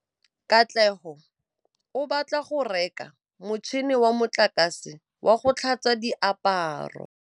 Katlego o batla go reka motšhine wa motlakase wa go tlhatswa diaparo.